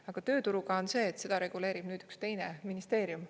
Aga tööturuga on see, et seda reguleerib nüüd üks teine ministeerium.